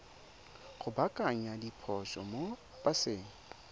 go baakanya diphoso mo paseng